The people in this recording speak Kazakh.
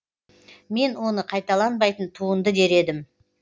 мен оны қайталанбайтын туынды дер едім